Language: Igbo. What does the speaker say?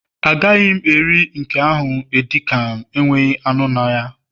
Agaghị m eri nke ahụ edi kan, enweghị anụ na ya